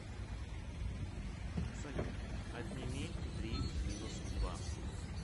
салют отними три минус два